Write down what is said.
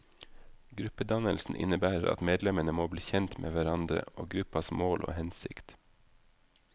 Gruppedannelsen innebærer at medlemmene må bli kjent med hverandre og gruppas mål og hensikt.